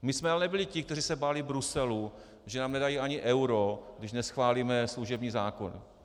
My jsme ale nebyli ti, kteří se báli Bruselu, že nám nedají ani euro, když neschválíme služební zákon.